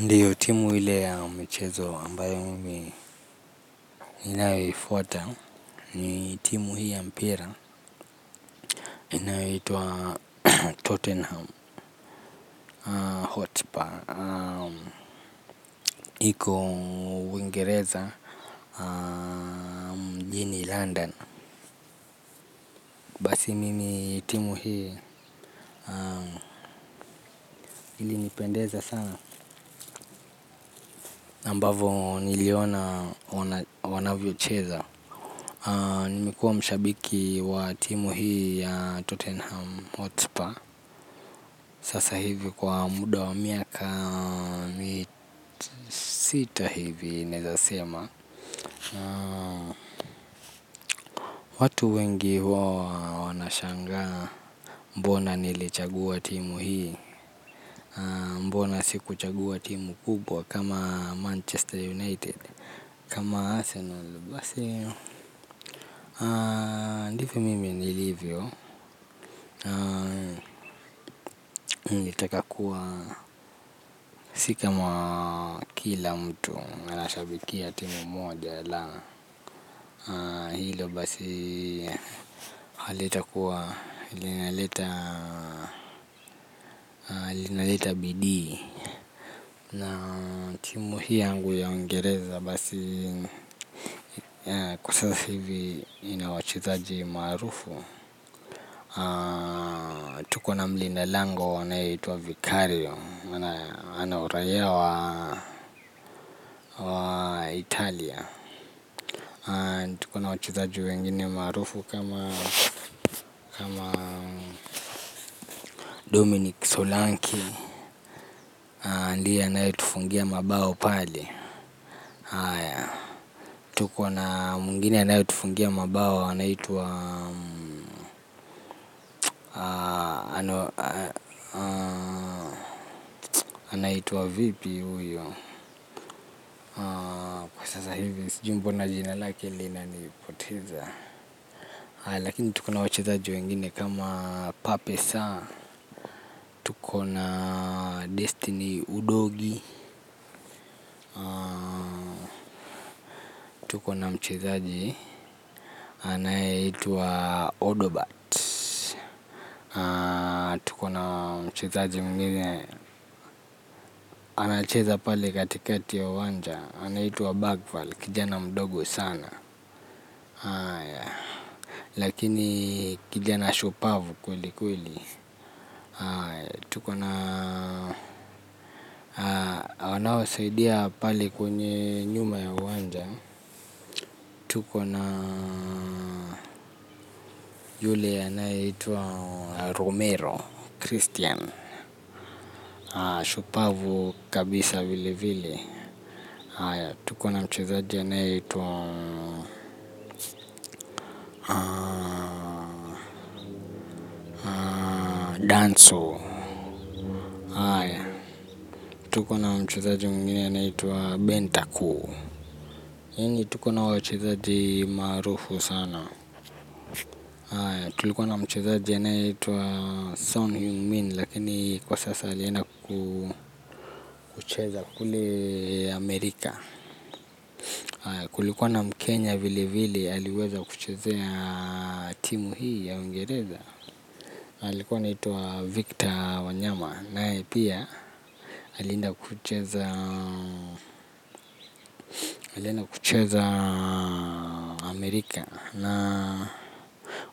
Ndio timu ile ya michezo ambayo mimi ninayoifuata ni timu hii ya mpira. Inayoitwa Tottenham Hotspur. Iko Uingereza mjini London. Basi mimi timu hii ili nipendeza sana ambavo niliona wanavyocheza. Nimekuwa mshabiki wa timu hii ya Tottenham Hotspur. Sasa hivi kwa muda wa miaka mi sita hivi naeza sema. Watu wengi huwa wanashangaa. Mbona nilichagua timu hii. Mbona sikuchagua timu kubwa Kama Manchester United Kama Arsenal basi ndivyo mimi niLivyo nilitaka kuwa. Si kama kila mtu anashabikia timu moja. Hilo basi hali itakuwa ile inaleta bidii na timu hii yangu ya uingereza basi kwa sasa hivi ina wachezaji maarufu. Tuko na mlinda lango anayeitwa Vicario ana uraia wa Italia. Tuko na wachezaji wengine maarufu kama Dominic Solanke. Ndiye anayetufungia mabao pale. Tuko na mwingine anayetufungia mabao anaitwa vipi uyo kwa sasa hivi sijui mbona jina lake linanipoteza. Lakini tuko na wachezaji wengine kama pape sarr tuko na destiny udogie. Tuko na mchezaji anayeitwa odobat. Tuko na mchezaji mwingine anacheza pale katikati ya uwanja anaitwa Bagval, kijana mdogo sana. Lakini kijana shupavu kweli kweli. Tuko na wanaowasaidia pale kwenye nyuma ya uwanja. Tuko na yule anayeitwa Romero Christian shupavu kabisa vile vile, tuko na mchezaji anayeitwa Danso haya, tuko na mchezaji mwingine anayeitwa Benta Koo yani tuko na wachezaji maarufu sana haya, tulikuwa na mchezaji anayeitwa Son Hummin. Lakini kwa sasa alienda kucheza kule Amerika. Kulikuwa na mkenya vile vile, aliweza kuchezea timu hii ya Uingereza alikuwa anaitwa Victor Wanyama. Naye pia alienda kucheza Amerika. Na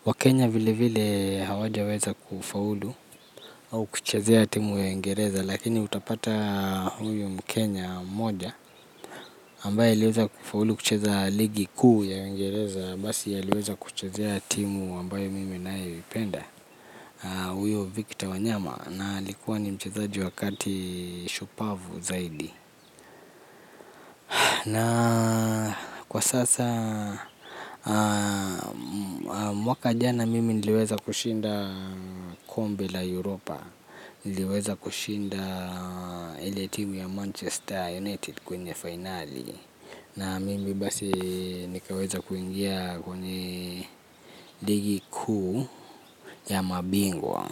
waKenya vile vile hawaja weza kufaulu au kuchezea timu ya uingereza. Lakini utapata huyu mkenya mmoja ambaye aliweza kufaulu kucheza ligi kuu ya uingereza. Basi aliweza kuchezea timu ambaye mimi nayoipenda. Uyo Victor wanyama na alikuwa ni mchezaji wa kati shupavu zaidi. Na kwa sasa mwaka jana mimi niliweza kushinda kombe la Europa. Niliweza kushinda ile timu ya Manchester United kwenye fainali. Na mimi basi nikaweza kuingia kwenye ligi kuu ya mabingwa.